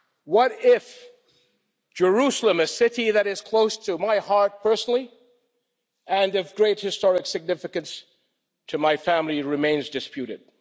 What if Jerusalem, a city that is close to my heart personally and of great historical significance to my family, remains disputed?